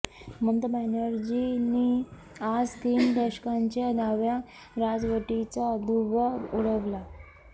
ममता बॅनर्जीनी आज तीन दशकांच्या डाव्या राजवटीचा धुव्वा उडवला